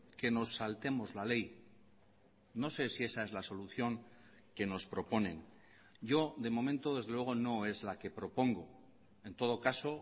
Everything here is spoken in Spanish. que nos saltemos la ley no sé si esa es la solución que nos proponen yo de momento desde luego no es la que propongo en todo caso